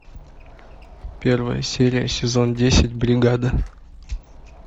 первая серия сезон десять бригада